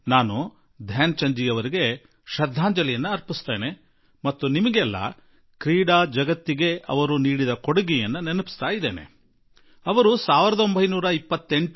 ನಾನು ಧ್ಯಾನ್ ಚಂದ್ ಜೀ ಅವರಿಗೆ ಶ್ರದ್ಧಾಂಜಲಿ ಸಲ್ಲಿಸುವೆ ಹಾಗೂ ಈ ಸಂದರ್ಭದಲ್ಲಿ ನಿಮಗೆಲ್ಲರಿಗೂ ಅವರ ಕೊಡುಗೆಯನ್ನು ನೆನಪು ಮಾಡಿಕೊಡಲು ಬಯಸುವೆ